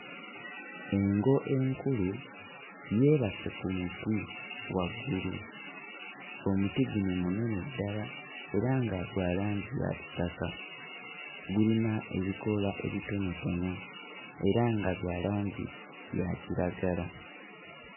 Engo enkulu yeebase ku muti waggulu omuti guno munene ddala era nga gwa langi ya kitaka gulina ebikoola ebitonotono era nga bya langi ya kiragala.